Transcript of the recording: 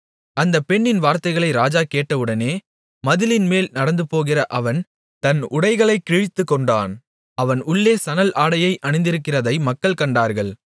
அந்தப் பெண்ணின் வார்த்தைகளை ராஜா கேட்டவுடனே மதிலின்மேல் நடந்துபோகிற அவன் தன் உடைகளைக் கிழித்துக்கொண்டான் அவன் உள்ளே சணல் ஆடையை அணிந்திருக்கிறதை மக்கள் கண்டார்கள்